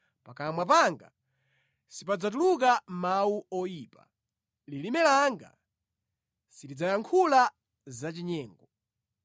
pakamwa panga sipadzatuluka mawu oyipa, lilime langa silidzayankhula zachinyengo.